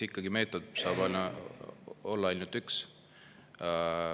Eks meetod saab olla ikkagi ainult üks.